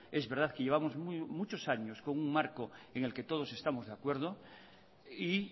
es verdad que llevamos muchos años con un marco en el que todos estamos de acuerdo y